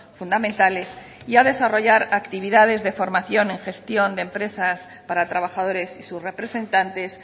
fundamentales y a desarrollar actividades de formación en gestión de empresas para trabajadores y sus representantes